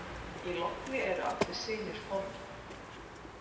Í logni eru allir synir formenn.